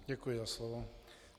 Děkuji za slovo.